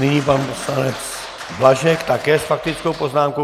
Nyní pan poslanec Blažek také s faktickou poznámkou.